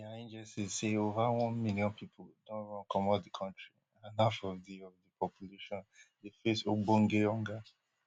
dia agencies say ova one million pipo don run comot di kontri and half of di of di population dey face ogbonge hunger